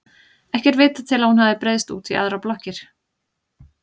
Ekki er vitað til að hún hafi breiðst út í aðrar blokkir.